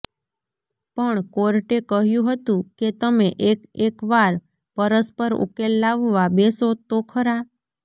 પણ કોર્ટે કહ્યુ હતુ કે તમે એક એક વાર પરસ્પર ઉકેલ લાવવા બેસો તો ખરા